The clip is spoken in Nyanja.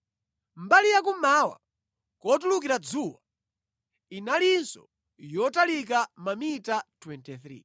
Mbali yakummawa, kotulukira dzuwa, inalinso yotalika mamita 23.